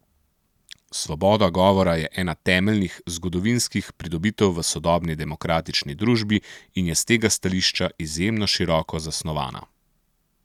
Svoboda govora je ena temeljnih, zgodovinskih pridobitev v sodobni demokratični družbi in je s tega stališča izjemno široko zasnovana.